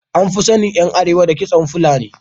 An fi sanin ’yan Arewa da kitson fulani.